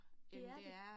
Det er det